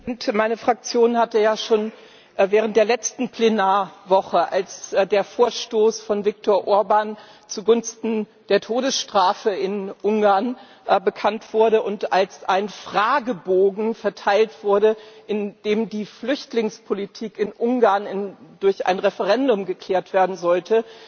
Herr Präsident! Meine Fraktion hatte ja während der letzten Plenarwoche, als der Vorstoß von Viktor Orbán zugunsten der Todesstrafe in Ungarn bekannt wurde und als ein Fragebogen verteilt wurde, in dem die Flüchtlingspolitik in Ungarn durch ein Referendum geklärt werden sollte,